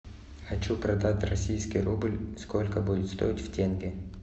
хочу продать российский рубль сколько будет стоить в тенге